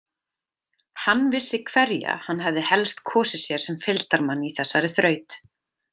Hann vissi hverja hann hefði helst kosið sér sem fylgdarmann í þessari þraut.